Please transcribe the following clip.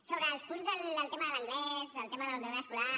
sobre els punts del tema de l’anglès del tema de l’abandonament escolar